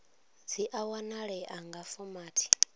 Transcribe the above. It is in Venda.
dzi a wanalea nga fomathi